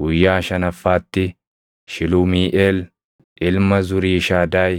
Guyyaa shanaffaatti Shilumiiʼeel ilma Zuriishadaayi